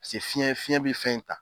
Se fiɲɛ fiɲɛ bi fɛn in ta